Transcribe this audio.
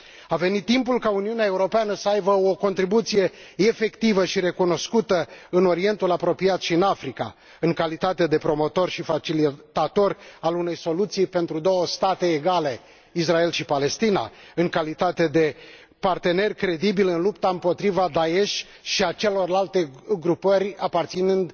A venit timpul ca Uniunea Europeană să aibă o contribuție efectivă și recunoscută în Orientul Apropiat și în Africa în calitate de promotor și facilitator al unei soluții pentru două state egale, Israel și Palestina, în calitate de partener credibil în lupta împotriva Da'esh și a celorlalte grupări aparținând